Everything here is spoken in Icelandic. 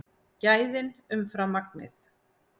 Gæðin umfram magnið